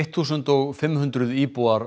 þúsund og fimm hundruð íbúar